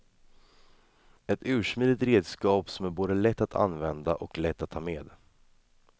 Ett ursmidigt redskap som är både lätt att använda och lätt att ta med.